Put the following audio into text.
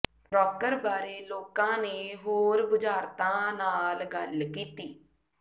ਰੌਕਰ ਬਾਰੇ ਲੋਕਾਂ ਨੇ ਹੋਰ ਬੁਝਾਰਤਾਂ ਨਾਲ ਗੱਲ ਕੀਤੀ